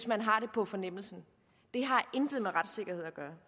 man har på fornemmelsen det har intet med retssikkerhed at gøre